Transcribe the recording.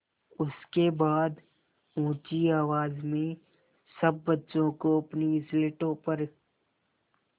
उसके बाद ऊँची आवाज़ में सब बच्चों को अपनी स्लेटों पर